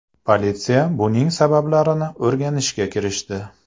Politsiya buning sabablarini o‘rganishga kirishdi.